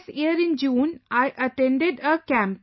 This year in June I attended a camp